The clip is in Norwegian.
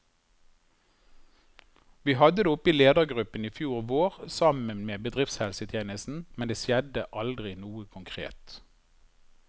Vi hadde det oppe i ledergruppen i fjor vår, sammen med bedriftshelsetjenesten, men det skjedde aldri noe konkret.